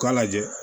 U k'a lajɛ